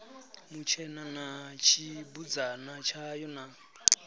mutshena na tshibudzana tshayo na